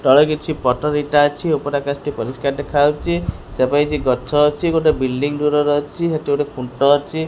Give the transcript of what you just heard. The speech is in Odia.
ଟଳେ କିଛି ପଟର ଇଟା ଅଛି ଓପରେ ଆକାଶଟି ପରିଷ୍କାର ଦେଖାହୋଉଚି ସେପାଖେ କିଛି ଗଛ ଅଛି ଗୋଟେ ଵିଲ୍ଡିଂ ଦୂରରେ ଅଛି ହେଠି ଗୋଟେ ଖୁଣ୍ଟ ଅଛି।